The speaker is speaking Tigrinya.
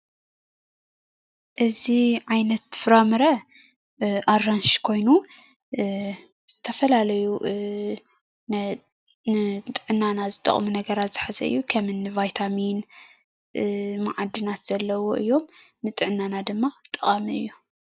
እዚ ዓይነት ፍራምረ አራንሺ ኮይኑ ዝተፈላለዩ ንጥዕናና ዝጠቕሙ ነገራት ዝሓዘ እዩ፡፡ ከምኒ ቫይታሚንን ማዓድናትን ዘለውዎ እዩ፡፡ ንጥዕናና ድማ ጠቓሚ እዩ፡፡